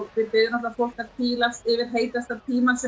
við biðjum fólk að hvílast yfir heitasta tímann sem